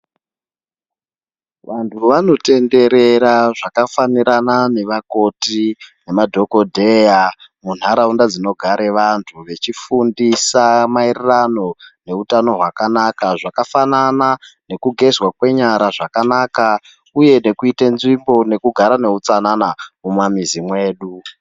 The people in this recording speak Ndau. Vantu vanotenderera zvakafanirana nevakoti nemadhokodheya munharaunda dzinogare vantu vechifundisa maererano neutano hwakanaka zvakafanana nekugezwa kwenyara zvakanaka uye nekuite nzvimbo nekugara neutsanana mumamizi mwedu.